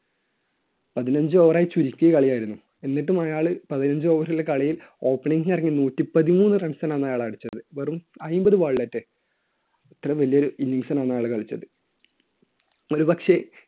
പതിനഞ്ച് over ആയി ചുരുക്കിയ കളി ആയിരുന്നു. എന്നിട്ടും അയാൾ പതിനഞ്ച് over ലെ കളിയിൽ opening ൽ ഇറങ്ങി നൂറ്റിപ്പതിമൂന്ന്‌ runs ആണ് അയാൾ അടിച്ചത്. അതിന്‍റെ ഒരു അത്രയും വലിയൊരു innings ആണ് അയാൾ അന്ന് കളിച്ചത്. ഒരുപക്ഷേ